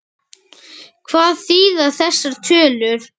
Hvað þýða þessar tölur?